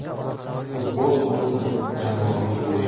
Futbol bu – jamoaviy o‘yin.